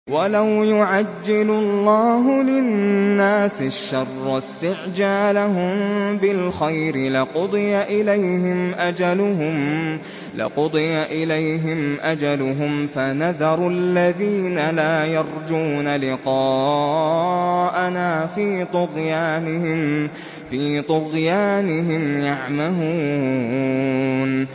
۞ وَلَوْ يُعَجِّلُ اللَّهُ لِلنَّاسِ الشَّرَّ اسْتِعْجَالَهُم بِالْخَيْرِ لَقُضِيَ إِلَيْهِمْ أَجَلُهُمْ ۖ فَنَذَرُ الَّذِينَ لَا يَرْجُونَ لِقَاءَنَا فِي طُغْيَانِهِمْ يَعْمَهُونَ